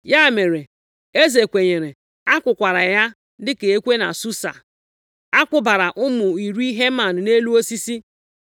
Ya mere, eze kwenyere, a kụkwara ya dịka ekwe na Susa, a kwụbara ụmụ iri Heman nʼelu osisi.